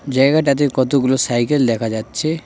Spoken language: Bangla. জায়গাটাতে কতগুলো সাইকেল দেখা যাচ্ছে।